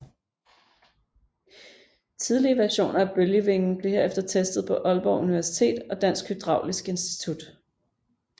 Tidlige versioner af bølgevingen blev herefter testet på Aalborg Universitet og Dansk Hydraulisk Institut